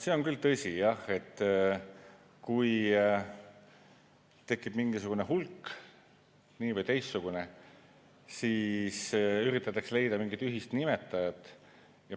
See on küll tõsi jah, et kui tekib mingisugune hulk – nii‑ või teistsugune –, siis üritatakse leida mingit ühist nimetajat.